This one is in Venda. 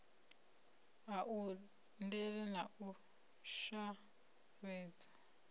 a undele na u shavhedza